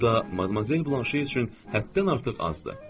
Bu da Madmazel Blanşe üçün həddən artıq azdır.